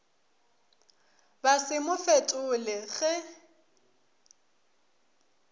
ba se mo fetole ge